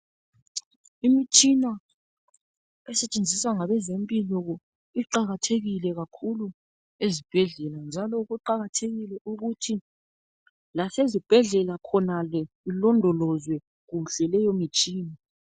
Imitshina esetshenziswa ngabezempilo iqakathekile kakhulu ezibhedlela njalo kuqakathekile ukuthi lasezibhedlela khonale ilondolozwe kuhle leyo mitshina.